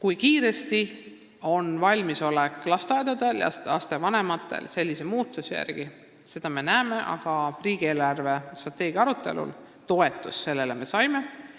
Seda me veel näeme, kui suur on lasteaedade ja lapsevanemate valmisolek, aga riigi eelarvestrateegia arutelul leidis see ettepanek toetust.